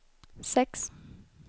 sex